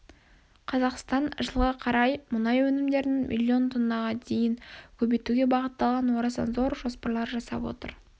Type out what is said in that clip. қазақстан жылға қарай мұнай өнімдерін миллон тоннаға дейін көбейтуге бағытталған орасан зор жоспарлар жасап отыр